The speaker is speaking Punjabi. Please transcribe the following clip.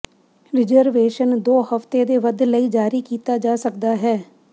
ਰਿਜ਼ਰਵੇਸ਼ਨ ਦੋ ਹਫਤੇ ਦੇ ਵੱਧ ਲਈ ਜਾਰੀ ਕੀਤਾ ਜਾ ਸਕਦਾ ਹੈ